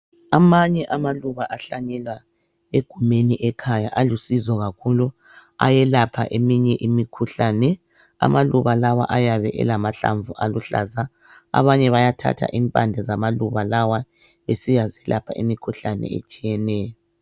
Amanye amaluba ahlanyelwa egumeni ekhaya alusizo kakhulu ayelapha eminye imikhuhlane. Amaluba lawa ayabe elamahlamvu aluhlaza abanye bayathatha impande zamakiba lawa besiyazilaoha imikhuhlane etshiyeneyo.